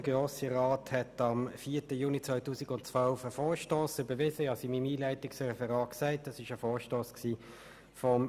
Der Grosse Rat hat am 4. Juni 2012 den Vorstoss des früheren Grossrats Mathias Kohler überwiesen.